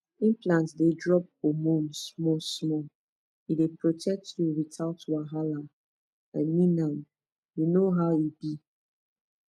implant dey drop hormone smallsmall e dey protect you without wahala i mean m u know how e b